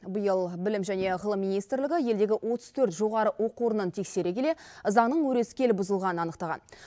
биыл білім және ғылым министрлігі елдегі отыз төрт жоғары оқу орнын тексере келе заңның өрескел бұзылғанын анықтаған